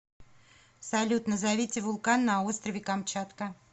салют назовите вулкан на острове камчатка